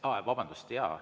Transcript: Aa, vabandust!